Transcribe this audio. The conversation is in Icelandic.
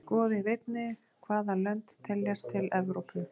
Skoðið einnig: Hvaða lönd teljast til Evrópu?